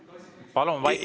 See ei ole debatt.